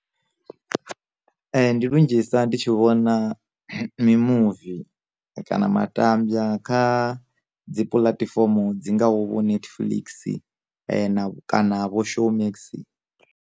Ndi lunzhisa ndi tshi vhona mimuvi kana matambya kha dzi puḽatifomo dzi ngaho vho netflix na kana vho showmax.